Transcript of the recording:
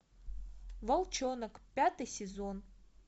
волчонок пятый сезон